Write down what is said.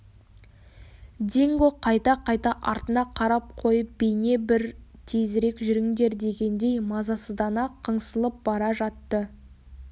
динго қайта-қайта артына қарап қойып бейне бір тезірек жүріңдер дегендей мазасыздана қыңсылап бара жатты